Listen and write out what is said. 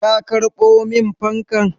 Ka karɓo min fankan?